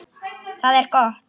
Það er gott